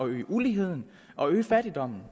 øge uligheden og øge fattigdommen